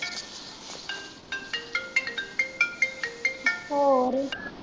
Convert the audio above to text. ਹੋਰ?